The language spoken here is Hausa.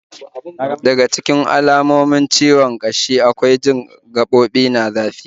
Daga cikin alamomin ciwon kashi akwai jin gaɓoɓi na zafi